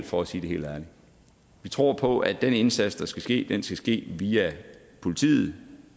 for at sige det helt ærligt vi tror på at den målrettede indsats der skal ske skal ske via politiet og